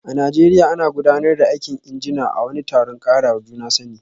A Najeriya, ana gudanar da aikin injina a wani taron karawa juna sani